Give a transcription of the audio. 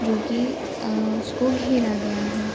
जो कि अ उसको घेरा गया है।